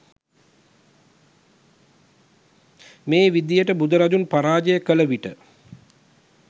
මේ විදියට බුදුරදුන් පරාජය කළ විට